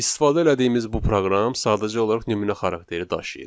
İstifadə elədiyimiz bu proqram sadəcə olaraq nümunə xarakteri daşıyır.